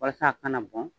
Walasa a kana bɔn